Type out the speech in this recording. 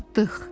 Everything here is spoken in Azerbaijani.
Çatdıq.